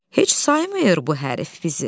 Heç saymır bu hərifi bizi.